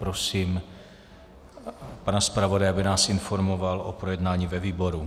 Prosím pana zpravodaje, aby nás informoval o projednání ve výboru.